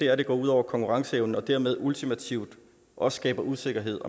er at det går ud over konkurrenceevnen og dermed ultimativt også skaber usikkerhed